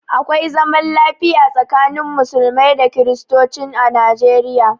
Akwai zaman lafiya tsakanin musulmai da kristocin a Nijeriya.